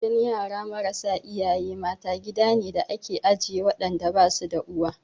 Gidan yara marasa iyaye mata, gida ne da ake ajiye waɗanda ba su da uwa.